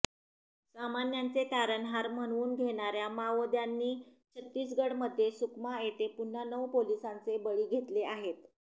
सामान्याचे तारणहार म्हणवून घेणाऱ्या माओवाद्यांनी छत्तीसगढमध्ये सुकमा येथे पुन्हा नऊ पोलिसांचे बळी घेतले आहेत